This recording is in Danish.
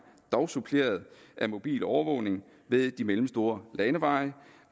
dog suppleret af mobil overvågning ved de mellemstore landeveje